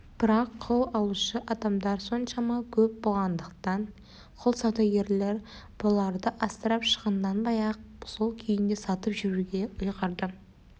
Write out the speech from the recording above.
бірақ құл алушы адамдар соншама көп болғандықтан құл саудагері бұларды асырап шығынданбай-ақ сол күйінде сатып жіберуге ұйғарды